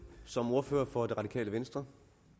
som ordfører for det radikale venstre